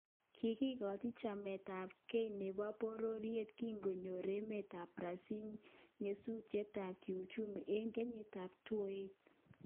Kigigoochi chamet ab kei nebo bororiet kingonyor emet ab Brasil nyasutiet ab kiuchumi eng kenyitab 2008